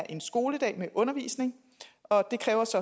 en skoledag med undervisning og det kræver